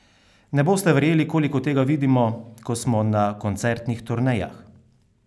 Ne boste verjeli, koliko tega vidimo, ko smo na koncertnih turnejah!